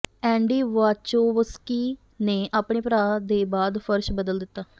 ਐਂਡੀ Wachowski ਨੇ ਆਪਣੇ ਭਰਾ ਦੇ ਬਾਅਦ ਫਰਸ਼ ਬਦਲ ਦਿੱਤਾ